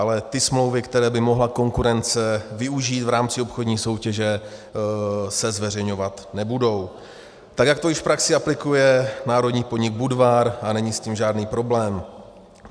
Ale ty smlouvy, které by mohla konkurence využít v rámci obchodní soutěže, se zveřejňovat nebudou, tak jak to již v praxi aplikuje národní podnik Budvar a není s tím žádný problém.